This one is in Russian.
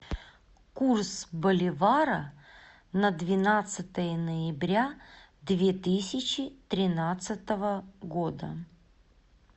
курс боливара на двенадцатое ноября две тысячи тринадцатого года